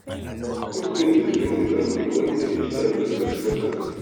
cocoa beans dey bring better money when e reach time to export am